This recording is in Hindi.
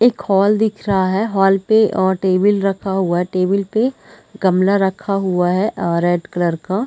एक हॉल दिख रहा है हॉल पे अ टेबल रखा हुआ है टेबल पे गमला रखा हुआ है अ रेड कलर का--